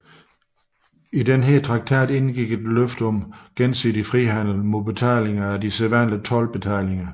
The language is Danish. I denne traktat indgik løfte om gensidig frihandel mod betaling af de sædvanlige toldbetalinger